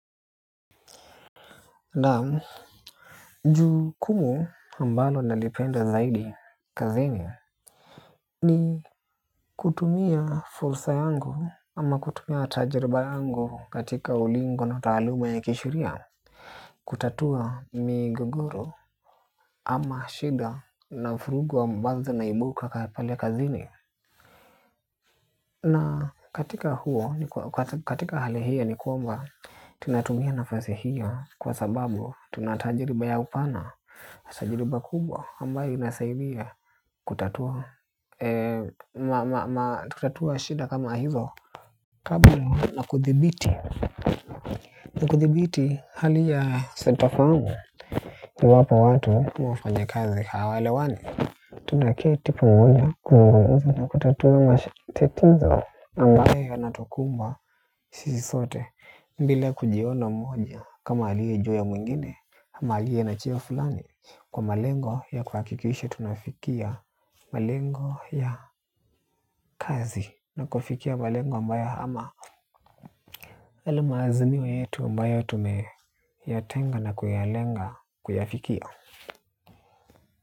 Naam, jukumu ambalo nalipenda zaidi kazini, ni kutumia fursa yangu ama kutumia tajiriba yangu katika ulingo na taaluma ya kisheria. Kutatua migogoro ama shida na vurugu ambazo zinaibuka pale kazini. Na katika huo, katika hali hiyo ni kwamba, tunatumia nafasi hiyo kwa sababu tunatajiriba ya upana, na tajiriba kubwa ambayo inasaidia kutatua, ma, ma, ma, kutatua shida kama hizo, kablo na kuthibiti na kuthibiti hali ya sitofahamu. Iwapo watu ama wafanyikazi hawaelewani. Tunaketi pamoja, kuzungumza na kutatua matatizo ambayo yanatukumba sisi sote. Bila kujiona mmoja kama aliye juu ya mwingine, ama aliye na cheo fulani, kwa malengo ya kuhakikisha tunafikia malengo ya kazi na kufikia malengo ambayo ama yale maazimik yetu ambayo tumeyatenga na kuyalenga kuyafikia.